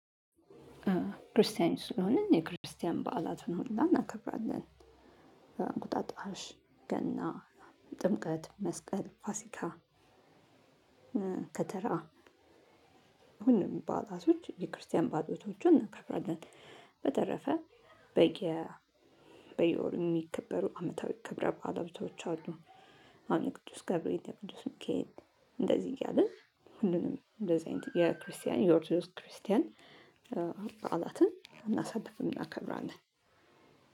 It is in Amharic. ክርስቲያኖች ስለሆንን የክርስቲያን በዓላቱን ሁላ እናከብራለን። እንቁጣጣሽ ገና ጥምቀት መስቀል ፋሲካ። ከተራ ሁሉም ባእላቶች የክርስቲያን ባእላቶቹን እናከብራለን። በተረፈ በየ በየወሩ የሚከበሩ አመታዊ ክብረ ባእላቶች አሉ። አሁን የቅዱስ ገብርኤል የቅዱስ ሚካኤል። እያልን ሁሉንም እንደዚህ አይነት የክርስቲያን የኦርቶዶክስ ክርስቲያን። በዓላትን እናሳልፍም እናከብራለን።